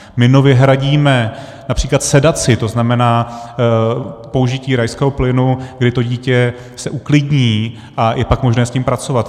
My nově hradíme například sedaci, to znamená, použití rajského plynu, kdy to dítě se uklidní a je pak možné s ním pracovat.